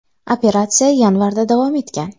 Operatsiya yanvarda ham davom etgan.